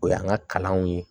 O y'an ka kalanw ye